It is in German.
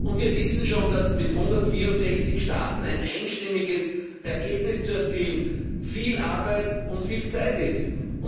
Und wir wissen schon, dass mit 164 Staaten ein einstimmiges Ergebnis zu erzielen, viel Arbeit und viel Zeit bedeutet.